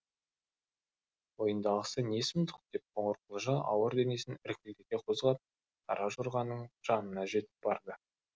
мойындағысы не сұмдық деп қоңырқұлжа ауыр денесін іркілдете қозғап қара жорғаның жанына жетіп барды